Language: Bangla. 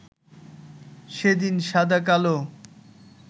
সেদিন সাদা-কালো